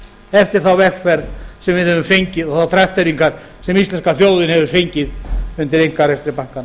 eftir þá vegferð sem við höfum fengið og þær trakteringar sem íslenska þjóðin hefur fengið undir einkarekstri bankanna